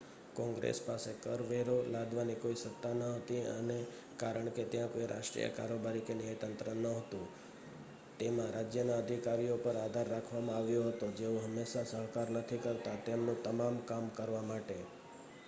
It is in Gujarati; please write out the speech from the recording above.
કોંગ્રેસ પાસે કર વેરો લાદવાની કોઈ સત્તા ન હતી અને કારણ કે ત્યાં કોઈ રાષ્ટ્રીય કારોબારી કે ન્યાયતંત્ર ન હોતું તેમાં રાજ્યના અધિકારીઓ પર આધાર રાખવામાં આવ્યો હતો જેઓ હંમેશા સહકાર નથી કરતા તેમનું તમામ કામ કરવા માટે